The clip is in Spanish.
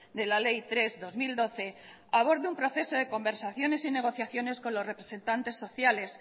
de la ley tres barra dos mil doce aborda un proceso de conversaciones y negociaciones con los representantes sociales